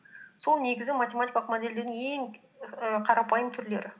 сол негізі математикалық модельдеудің ең і қарапайым түрлері